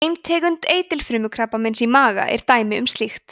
ein tegund eitilfrumukrabbameins í maga er dæmi um slíkt